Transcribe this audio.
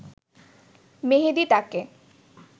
মেহেদী তাকে